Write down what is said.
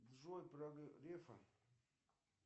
джой про грефа